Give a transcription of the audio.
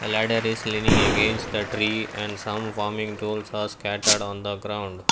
ladder is living against the tree and some farming tools are scattered on the ground.